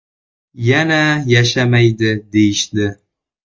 Yana yashamaydi deyishdi.